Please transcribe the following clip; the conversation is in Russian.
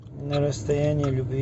на расстоянии любви